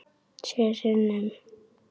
Sjö sinnum.